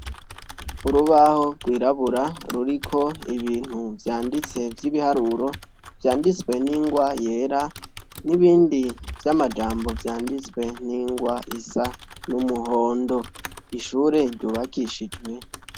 Urubaho rwirabura ruriko Ibintu vyanditse vy'ibiharuro vyanditswe n'ingwa yera nibindi vy'amajambo vyanditswe n'ingwa y'umuhondo, ishure ryubakishijwe.